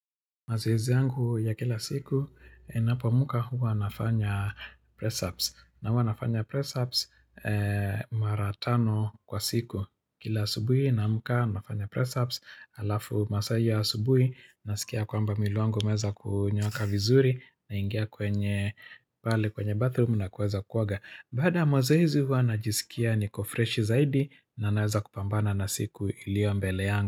Mazoezi yangu ya kila siku, ninapoamkanhuwa nafanya press ups. Na huwa nafanya press apps maratano kwa siku. Kila asubuhi naamka nafanya press ups. Alafu masaa iyo ya asubuhi, nasikia kwamba mwili wangu umeanza kunyooka vizuri, naingia kwenye, pale kwenye bathroom na kuweza kuoga. Bada ya mazoezi huwa najisikia niko freshi zaidi, na naweza kupambana na siku ilio mbele yangu.